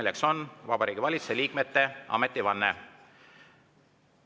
See on Vabariigi Valitsuse liikmete ametivanne.